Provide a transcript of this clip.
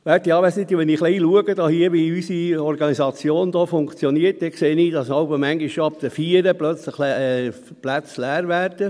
Werte Anwesende, wenn ich ein wenig schaue, wie unsere Organisation hier funktioniert, sehe ich, dass Plätze jeweils schon ab 16 Uhr leer werden.